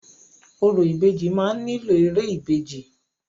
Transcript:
Orò ìbejì máa nílò ère ìbejì.